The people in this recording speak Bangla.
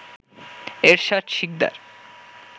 এরশাদ শিকদার